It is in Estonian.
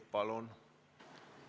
Palun!